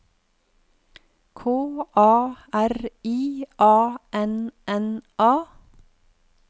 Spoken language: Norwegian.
K A R I A N N A